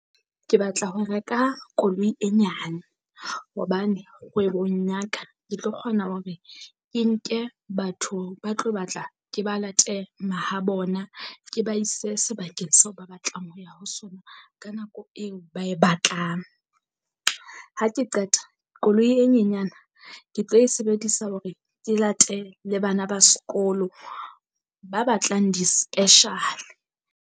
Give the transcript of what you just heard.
Ke batla ho reka koloi e nyane hobane kgwebong ya ka, ke tlo kgona hore ke nke batho ba tlo batla ke ba late mahabona ke ba ise sebakeng seo ba batlang ho ya ho sona ka nako eo ba e batlang. Ha ke qeta koloi e nyenyana ke tlo e sebedisa hore ke late le bana ba sekolo ba batlang di-special.